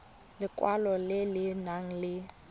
lekwalo le le nang le